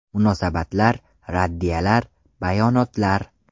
Munosabatlar, raddiyalar, bayonotlar.